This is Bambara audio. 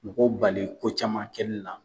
Mɔgɔw bali ko caman kɛli la.